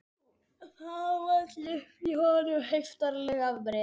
Það vall upp í honum heiftarleg afbrýði